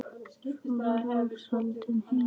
Svo var loks haldið heim.